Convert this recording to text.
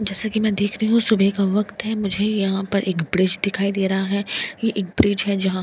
जैसा की मैं देख रही हूं सुबेह का वक्त है मुझे यहां पर एक ब्रिज दिखाई दे रहा है ये एक ब्रिज है जहां--